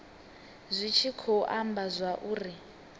zwi tshi khou amba zwauri